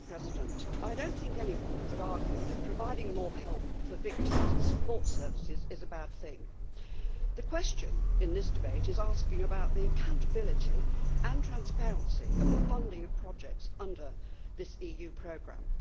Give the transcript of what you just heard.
Madam President, I do not think anyone could argue that providing more help for victims and support services is a bad thing. The question in this debate is asking about the accountability and transparency of the funding of projects under this EU programme.